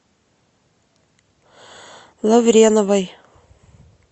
лавреновой